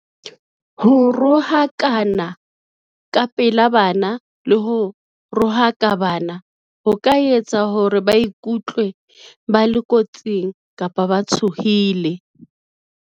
Ho rohakana ka pela bana le ho rohaka bana ho ka etsa hore ba ikutlwe ba le kotsing kapa ba tshohile.